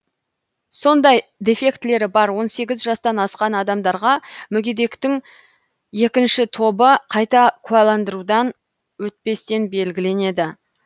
сондай дефектілері бар он сегіз жастан асқан адамдарға мүгедектіктің екінші тобы қайта куәландырудан өтпестен белгіленеді